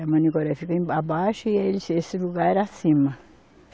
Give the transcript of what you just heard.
É Manicoré fica emba, abaixo e esse, esse lugar acima.